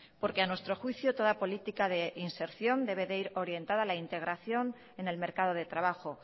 porque a nuestro juicio toda política de inserción debe de ir orientada a la integración en el mercado de trabajo